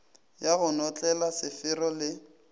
ya go notlela sefero le